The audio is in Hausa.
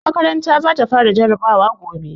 Makaranta za ta fara jarabawa gobe.